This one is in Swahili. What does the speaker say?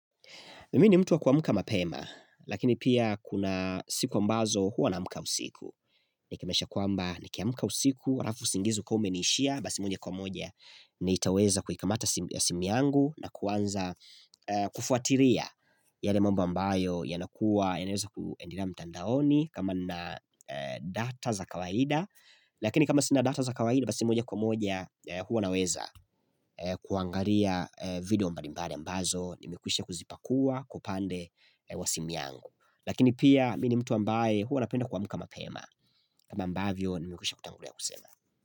Mimi ni mtu wa kuamka mapema, lakini pia kuna siku ambazo huwa naamka usiku. Ni kimesha kuamba ni kiamuka usiku, rafu singizu kwa ume ni ishia, basi mwenye kwa moja ni itaweza kuhikamata ya simu yangu na kuanza kufuatiria yale mamba mbayo yanakuwa, yaweza kuendira mtandaoni kama na data za kawaida. Lakini kama sinadata za kawahidi basi moja kwa moja huwa naweza kuangaria video mbalimbari ambazo Nimikusha kuzipakua kupande wa simu yangu Lakini pia mini mtu ambaye huwa napenda kwa muka mapema kama mbavyo nimikusha kutangulia kusema.